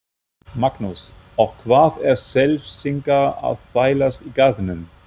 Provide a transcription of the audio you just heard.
Magnús: Og hvað eru Selfyssingar að þvælast í Garðinum?